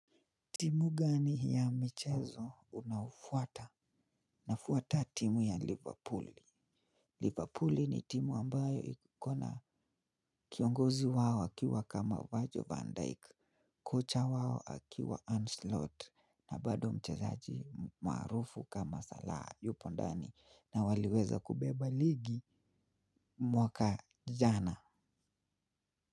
Timu gani ya michezo unaofuata? Nafuata timu ya Liverpool. Liverpool ni timu ambayo ikona kiongozi wao akiwa kama virgil Van Dyke. Kocha wao akiwa Arne slot na bado mchezaji marufu kama Salah Yupondani na waliweza kubeba ligi mwaka jana.